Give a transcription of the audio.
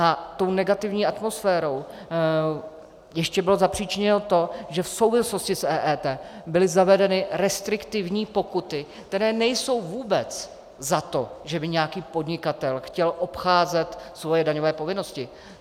A tou negativní atmosférou ještě bylo zapříčiněno to, že v souvislosti s EET byly zavedeny restriktivní pokuty, které nejsou vůbec za to, že by nějaký podnikatel chtěl obcházet svoje daňové povinnosti.